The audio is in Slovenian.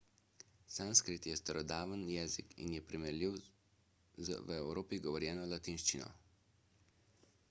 sanskrt je starodaven jezik in je primerljiv z v evropi govorjeno latinščino